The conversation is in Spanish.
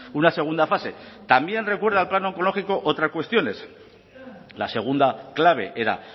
una segunda fase también recuerda al plan oncológico otras cuestiones la segunda clave era